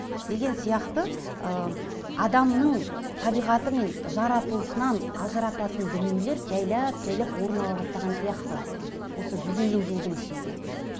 деген сияқты ы адамның табиғаты мен жаратылысынан ажырататын дүниелер жайлап жайлап орын ала бастаған сияқты осы жүз елу жылдың ішінде